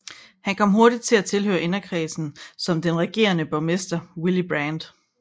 Han kom hurtigt til at tilhøre inderkredsen om den regerende borgmester Willy Brandt